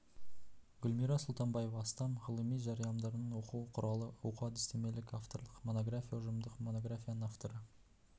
гүлмира сұлтанбаева астам ғылыми жарияланымдардың оқу құралы оқу-әдістемелік авторлық монография ұжымдық монографияның авторы